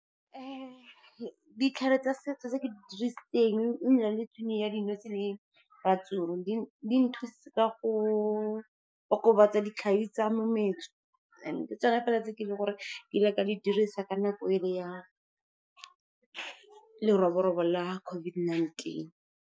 Ditlhare tsa setso tse ke di dirisitseng e ne e le tshwenye ya dinotshe le ratsoro. Di nthusitse ka go okobatsa ditlhabi tsa mometso, and ke tsona fela tse ke leng gore ka di dirisa ka nako e le ya leroborobo la COVID-19.